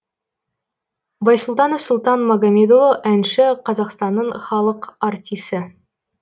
байсұлтанов сұлтан магамедұлы әнші қазақстанның халық артисі